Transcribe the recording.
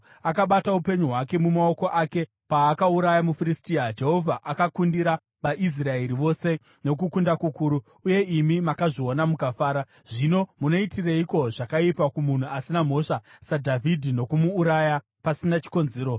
Akabata upenyu hwake mumaoko ake paakauraya muFiristia. Jehovha akakundira vaIsraeri vose nokukunda kukuru, uye imi makazviona mukafara. Zvino munoitireiko zvakaipa kumunhu asina mhosva saDhavhidhi nokumuuraya pasina chikonzero?”